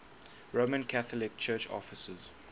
roman catholic church offices